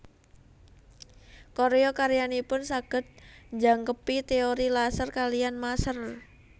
Karya karyanipun saged njangkepi teori laser kaliyan maser